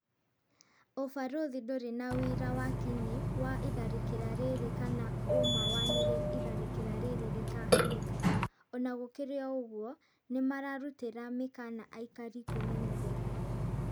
"ũbarothi ndũrĩ na wĩira wa kinyi wa itharĩkĩra rĩrĩ kana ũma wa nĩrĩ itharĩkĩra rĩrĩ rĩkahanika," Ona gũkĩrĩ ũguo, nĩmararutĩra mĩkana aikari kwĩmenyerera